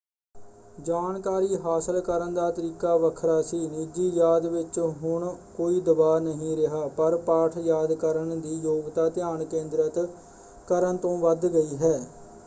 ਜਾਣਕਾਰੀ ਹਾਸਲ ਕਰਨ ਦਾ ਤਰੀਕਾ ਵੱਖਰਾ ਸੀ। ਨਿੱਜੀ ਯਾਦ ਵਿੱਚ ਹੁਣ ਕੋਈ ਦਬਾਅ ਨਹੀਂ ਰਿਹਾ ਪਰ ਪਾਠ ਯਾਦ ਕਰਨ ਦੀ ਯੋਗਤਾ ਧਿਆਨ ਕੇਂਦਰਿਤ ਕਰਨ ਤੋਂ ਵੱਧ ਗਈ ਹੈ।